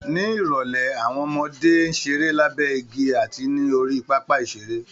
Ní ìrọ̀lẹ́ àwọn ọmọdé ń ṣeré lábẹ́ igi àti ní orí pápá ìṣeré